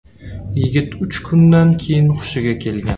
Yigit uch kundan keyin hushiga kelgan.